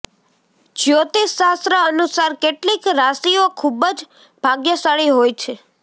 જ્યોતિષ શાસ્ત્ર અનુસાર કેટલીક રાશિઓ ખુબજ ભાગ્યશાળી હોય છે